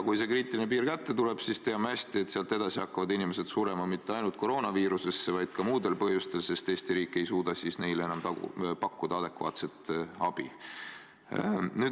Kui see kriitiline piir kätte tuleb, siis, teame hästi, sealt edasi hakkavad inimesed surema mitte ainult koroonaviirusesse, vaid ka muudel põhjustel, sest Eesti riik ei suuda neile enam pakkuda adekvaatset abi.